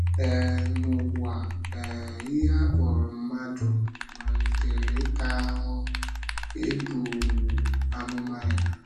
um N’ụwa, um ihe a kpọrọ mmadụ malitere ịta “ahụ́hụ” e buru um amụma ya.